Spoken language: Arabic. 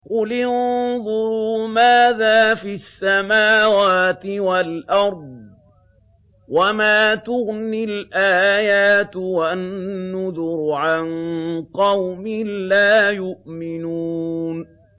قُلِ انظُرُوا مَاذَا فِي السَّمَاوَاتِ وَالْأَرْضِ ۚ وَمَا تُغْنِي الْآيَاتُ وَالنُّذُرُ عَن قَوْمٍ لَّا يُؤْمِنُونَ